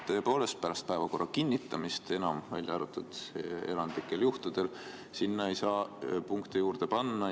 Tõepoolest, pärast päevakorra kinnitamist, välja arvatud erandlikel juhtudel, ei saa sinna punkte juurde panna.